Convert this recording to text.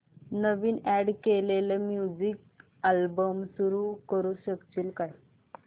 नवीन add केलेला music album सुरू करू शकशील का